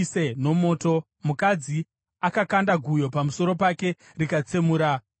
mukadzi akakanda guyo pamusoro pake rikatsemura dehenya rake.